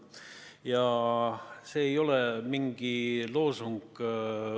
Ja see ei ole mingi loosung.